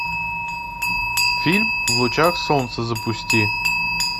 фильм в лучах солнца запусти